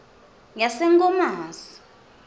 yasenkomazi